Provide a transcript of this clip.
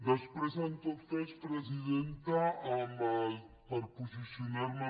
després en tot cas presidenta per posicionar me